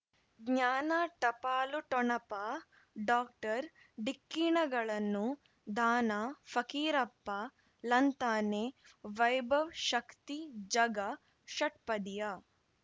ಜ್ಞಾನ ಟಪಾಲು ಠೊಣಪ ಡಾಕ್ಟರ್ ಢಿಕ್ಕಿ ಣಗಳನು ಧಾನ ಫಕೀರಪ್ಪ ಳಂತಾನೆ ವೈಭವ್ ಶಕ್ತಿ ಝಗಾ ಷಟ್ಪದಿಯ